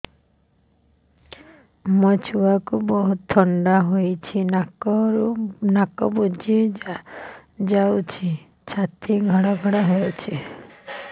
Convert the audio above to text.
ମୋ ଛୁଆକୁ ବହୁତ ଥଣ୍ଡା ହେଇଚି ନାକ ବୁଜି ଯାଉଛି ଛାତି ଘଡ ଘଡ ହଉଚି